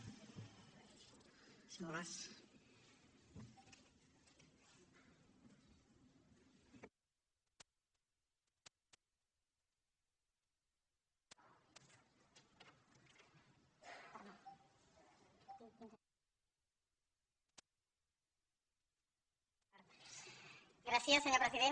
gràcies senyor president